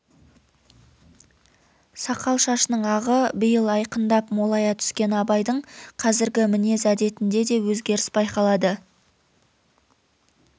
сақал-шашының ағы биыл айқындап молая түскен абайдың қазіргі мінез әдетінде де өзгеріс байқалады